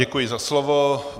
Děkuji za slovo.